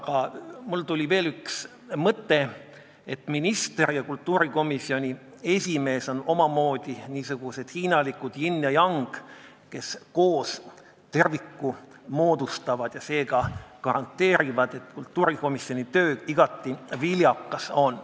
Aga mul tuli veel üks mõte: minister ja kultuurikomisjoni esimees on omamoodi niisugused hiinalikud yin ja yang, kes koos terviku moodustavad ja seega garanteerivad, et kultuurikomisjoni töö igati viljakas on.